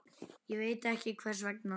Ég veit ekki vegna hvers.